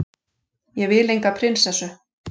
Ég vil enga prinsessu.